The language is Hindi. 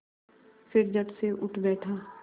फिर झटसे उठ बैठा